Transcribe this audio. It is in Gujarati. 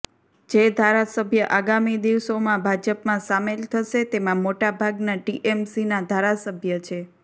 જે ધારાસભ્ય આગામી દિવસોમાં ભાજપમાં સામેલ થશે તેમાં મોટા ભાગના ટીએમસીના ધારાસભ્ય છે